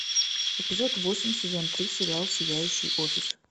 эпизод восемь сезон три сериал сияющий офис